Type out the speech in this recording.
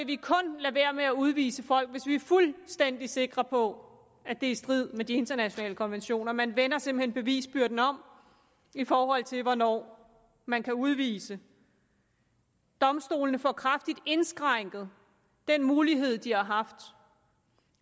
vi kun lade være med at udvise folk hvis vi er fuldstændig sikre på at det er i strid med de internationale konventioner man vender simpelt hen bevisbyrden om i forhold til hvornår man kan udvise domstolene får kraftigt indskrænket den mulighed de har haft